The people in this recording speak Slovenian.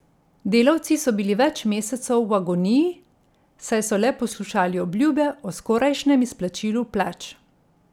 Delavci so bili več mesecev v agoniji, saj so le poslušali obljube o skorajšnjem izplačilu plač.